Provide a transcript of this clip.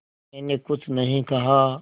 मैंने कुछ नहीं कहा